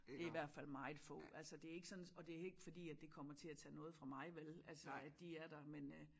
Det i hvert fald meget få altså det ikke sådan og det ikke fordi det kommer til at tage noget fra mig vel altså at de er der men